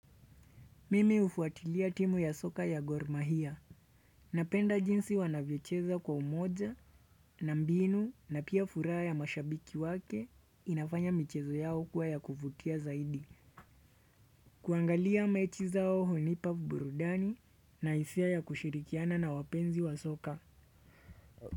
Mimi hufuatilia timu ya soka ya gor mahia. Napenda jinsi wanavyocheza kwa umoja na mbinu na pia furaha ya mashabiki wake inafanya michezo yao kuwa ya kuvutia zaidi. Kuangalia mechi zao hunipa burudani na hisia ya kushirikiana na wapenzi wa soka.